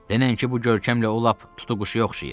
Denən ki, bu görkəmlə o lap tutuquşuya oxşayır.